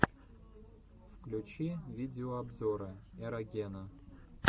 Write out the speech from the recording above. включи видеообзоры эрогена